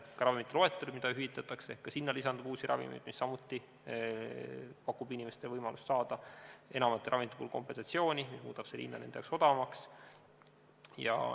Ka hüvitatavate ravimite loetellu lisandub uusi ravimeid ja see pakub samuti inimestele võimaluse saada enamate ravimite puhul kompensatsiooni, mis muudab hinna neile odavamaks.